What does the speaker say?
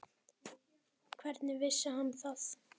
Hvernig vissi hann það?